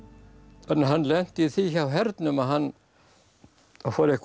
en hann lenti í því hjá hernum að hann fór eitthvað að